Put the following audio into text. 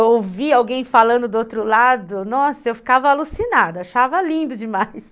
Eu ouvia alguém falando do outro lado, nossa, eu ficava alucinada, achava lindo demais.